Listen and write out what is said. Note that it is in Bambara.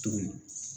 Tuguni